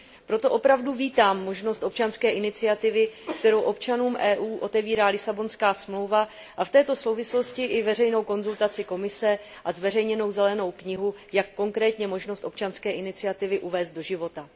Proto opravdu vítám možnost občanské iniciativy, kterou občanům EU otevírá Lisabonská smlouva, a v této souvislosti i veřejnou konzultaci s Komisí a zveřejněnou zelenou knihu, jak konkrétně možnost občanské iniciativy uvést do života.